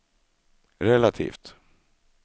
relativt